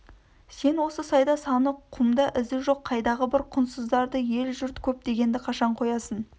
сен осы сайда саны құмда ізі жоқ қайдағы бір құнсыздарды ел жұрт көп дегенді қашан қоясың